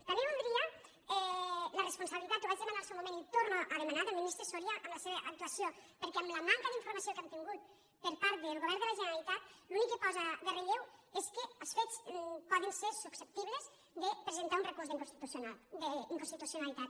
també voldria la responsabilitat ho vaig demanar en el seu moment i ho torno a demanar del ministre so·ria en la seva actuació perquè amb la manca d’infor·mació que ham tingut per part del govern de la gene·ralitat l’únic que posa en relleu és que els fets poden ser susceptibles de presentar un recurs d’inconstituci·onalitat